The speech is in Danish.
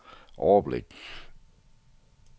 overblik